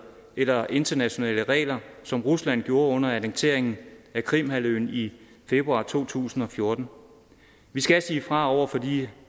eller internationale organer som rusland gjorde under annekteringen af krimhalvøen i februar to tusind og fjorten vi skal sige fra over for